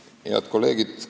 Head kolleegid!